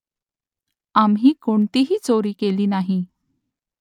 आम्ही कोणतीही चोरी केली नाही